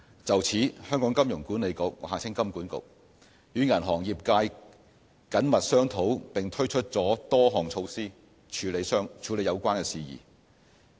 就此，香港金融管理局與銀行業界緊密商討並推出了多項措施處理有關事宜。